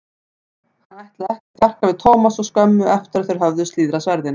Hann ætlaði ekki að þjarka við Thomas svo skömmu eftir að þeir höfðu slíðrað sverðin.